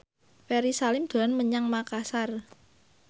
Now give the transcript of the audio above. Ferry Salim dolan menyang Makasar